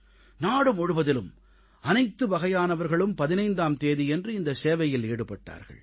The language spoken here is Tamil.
நாடு முழுவதிலும் அனைத்து வகையானவர்களும் 15ஆம் தேதியன்று இந்தச் சேவையில் ஈடுபட்டார்கள்